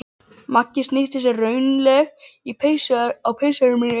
Magga snýtti sér raunaleg á peysuerminni.